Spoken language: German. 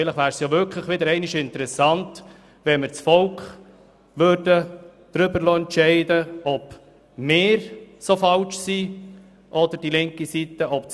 Vielleicht wäre es wieder einmal interessant, das Volk darüber entscheiden zu lassen, ob wir dermassen falsch liegen oder ob dies auf die linke Seite zutrifft.